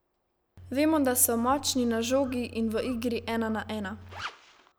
Vemo, da so močni na žogi in v igri ena na ena.